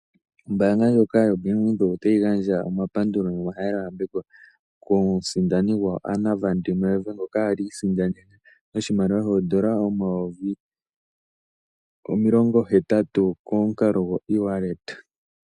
Ombanga ndjoka yo Bank Widheok otayi gandja omapandulo nomahalelo yambeko kosindani Anna Van Der Merwe ngoka ali isindaneme oshimaliwa shondola 80,000 konkalo go iwaleta.